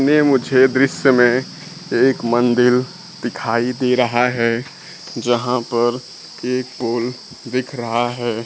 में मुझे दृश्य में एक मंदिल दिखाई दे रहा है जहां पर एक पोल दिख रहा है।